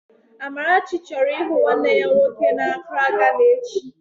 Amarachi chọrọ ịhụ nwanne ya nwoke n'Akraa, Gana echi